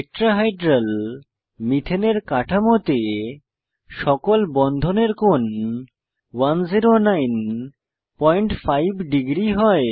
tetrahedral মিথেনের কাঠামোতে সকল বন্ধনের কোণ 1095 ডিগ্রী হয়